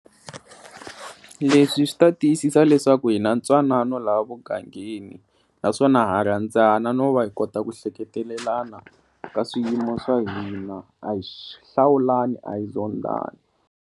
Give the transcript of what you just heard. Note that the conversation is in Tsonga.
Leswi swi ta tiyisisa leswaku hi na ntwanano laha mugangeni naswona ha rhandzana no va hi kota ku hleketelelana ka swiyimo swa hina a hi hlawulani a hi zondani.